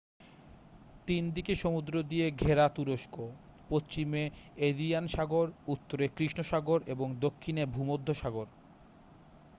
3দিকে সমুদ্র দিয়ে ঘেরা তুরস্ক পশ্চিমে এজিয়ান সাগর উত্তরে কৃষ্ণ সাগর এবং দক্ষিণে ভূমধ্যসাগর